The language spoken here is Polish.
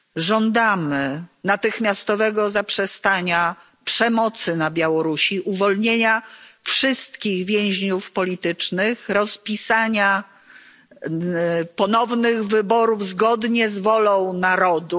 Żądamy natychmiastowego zaprzestania przemocy na Białorusi, uwolnienia wszystkich więźniów politycznych, rozpisania ponownych wyborów zgodnie z wolą narodu.